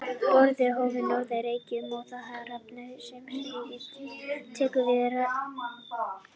Boranir hófust á Norður-Reykjum, en þá hafði Rafmagnseftirlit ríkisins tekið við rekstri jarðborana.